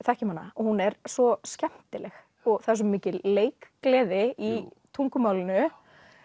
þekkjum hana og hún er svo skemmtileg og það er svo mikil leikgleði í tungumálinu